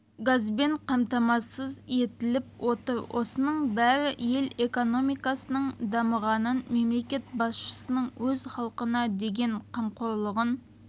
газбен қамтамасыз етіліп отыр осының бәрі ел экономикасының дамығанын мемлекет басшысының өз халқына деген қамқорлығын